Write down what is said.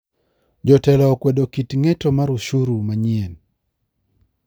Jotelo okwedo kit ng`eto mar ushuru manyien .